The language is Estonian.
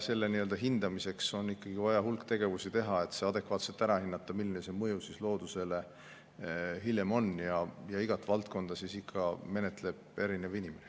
Selle hindamiseks on ikkagi vaja terve hulk tegevusi, et see adekvaatselt ära hinnata, milline see mõju loodusele hiljem on, ja igat valdkonda menetleb ikka erinev inimene.